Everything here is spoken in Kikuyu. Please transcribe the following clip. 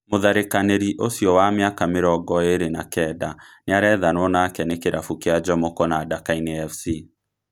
Mũtharĩkanĩri ũcio wa mĩaka mĩrongo ĩrĩ na kenda nĩarethanwo nake nĩ kĩrabu kĩa Njomoko na Dakaine Fc